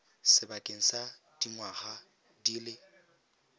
sebakeng sa dingwaga di le